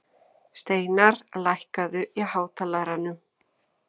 Steinarr, lækkaðu í hátalaranum.